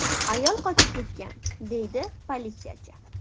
Ayol qochib ketgan”, deydi politsiyachi.